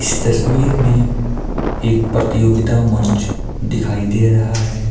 इस तस्वीर में एक प्रतियोगिता मंच दिखाई दे रहा है।